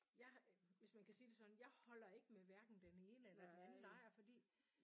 Jeg har hvis man kan sige det sådan jeg holder ikke med hverken den ene eller den anden lejr fordi